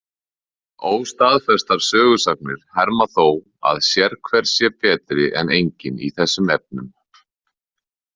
Óstaðfestar sögusagnir herma þó að sérhver sé betri en enginn í þessum efnum.